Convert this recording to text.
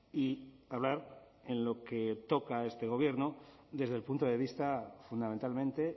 y hablar en lo que toca a este gobierno desde el punto de vista fundamentalmente